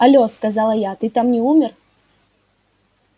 алло сказала я ты там не умер